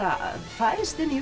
fæðst inn í